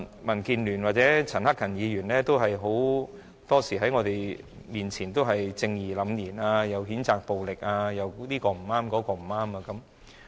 民建聯或陳克勤議員很多時候在我們面前也是正義凜然的，他們譴責暴力又說其他人不對。